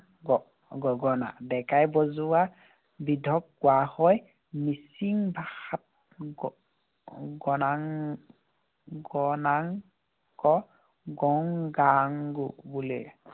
গ~ গগনা। ডেকাই বজোৱাবিধক কোৱা হয় মিচিং ভাষাত গ~ গনাং গংগাং বোলে।